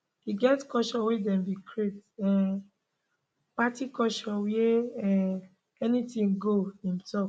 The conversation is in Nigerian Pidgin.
e get culture wey dem bin create um party culture wia um anytin go im tok